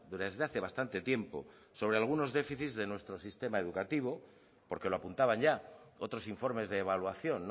desde hace bastante tiempo sobre algunos déficits de nuestro sistema educativo porque lo apuntaban ya otros informes de evaluación